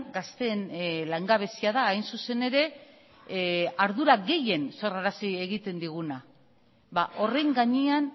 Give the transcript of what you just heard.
gazteen langabezia da hain zuzen ere ardura gehien sorrarazi egiten diguna ba horren gainean